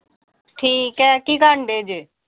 ਠੀਕ ਆ। ਕੀ ਕਰਨ ਡਏ ਜੇ?